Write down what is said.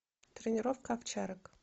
тренировка овчарок